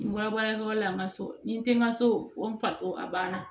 N bɔra baarakɛyɔrɔ la n ma so ni n te n ka so ko n faso a ban na